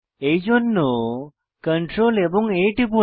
এইজন্য Ctrl এবং A টিপুন